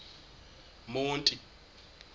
monti